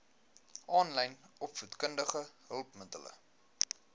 aanlyn opvoedkundige hulpmiddele